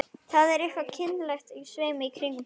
Það er eitthvað kynlegt á sveimi í kringum hann.